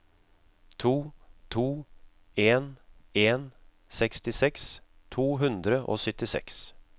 to to en en sekstiseks to hundre og syttiseks